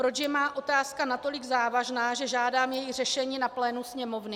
Proč je má otázka natolik závažná, že žádám její řešení na plénu Sněmovny?